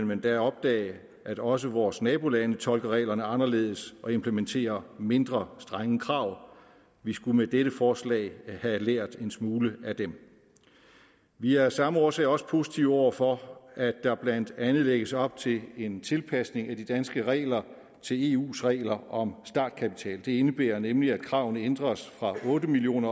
man da opdage at også vores nabolande tolker reglerne anderledes og implementer mindre strenge krav vi skulle med dette forslag have lært en smule af dem vi er af samme årsag også positive over for at der blandt andet lægges op til en tilpasning af de danske regler til eus regler om startkapital det indebærer nemlig at kravene ændres fra otte million